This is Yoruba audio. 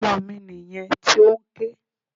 Ọmọ mi nìyẹn tí ó ń ké.